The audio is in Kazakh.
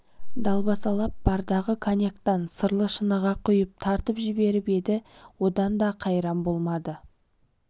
далбасалап бардағы коньяктан сырлы шыныға құйып тартып жіберіп еді одан да қайран болмады